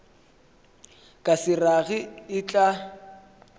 ka se rage e tla